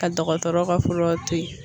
Ka dɔgɔtɔrɔ ka fura to yen.